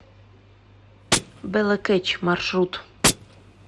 бэлэкэч маршрут